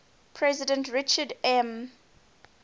president richard m